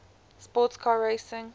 sports car racing